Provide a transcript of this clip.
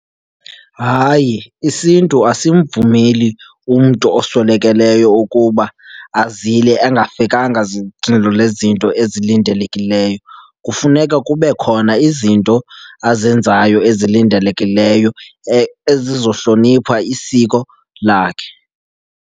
Hayi, isiNtu asimvumeli umntu oswelekelweyo ukuba azile engafikanga lezinto ezilindelekileyo. Kufuneka kube khona izinto azenzayo ezilindelekileyo ezizohlonipha isiko lakhe.